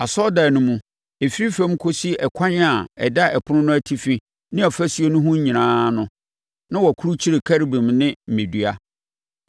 Asɔredan no mu, ɛfiri fam kɔsi ɛkwan a ɛda ɛpono no atifi ne afasuo ho nyinaa no, na wɔakurukyire Kerubim ne mmɛdua.